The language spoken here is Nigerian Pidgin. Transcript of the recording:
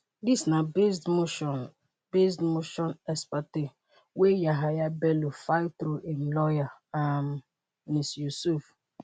dis na based motion based motion ex-parte wey yahaya bello file through im lawyer um m.s. yusuf.